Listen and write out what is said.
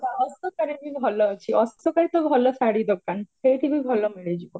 ହଁ ହଁ ଅଶୋକା ଅଶୋକାରେ ବି ଭଲ ଅଛି ଅଶୋକରେ ତ ଭଲଶାଢୀ ଦୋକାନ ସେଇଠି ବି ଭଲ ମିଳିଯିବ